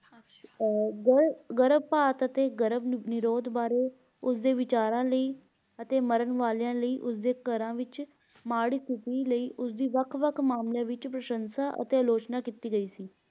ਗਰਭ ਗਰਭਪਾਤ ਅਤੇ ਗ੍ਰਭਨਿਰੋਧ ਬਾਰੇ ਉਸ ਦੇ ਵਿਚਾਰਨ ਲਈ ਅਤੇ ਮਰਨ ਵਾਲਿਆਂ ਲਈ ਉਸਦੇ ਘਰਾਂ ਵਿਚ ਮਾੜੀ ਸਤਿਥੀ ਲਈ ਉਸ ਦੀ ਵੱਖ ਵੱਖ ਮਾਮਲਿਆਂ ਵਿਚ ਪ੍ਰਸ਼ੰਸਾ ਅਤੇ ਆਲੋਚਨਾ ਕੀਤੀ ਗਈ ਸੀ l